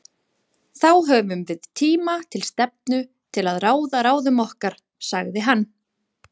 Þá höfum við tíma til stefnu til að ráða ráðum okkar, sagði hann.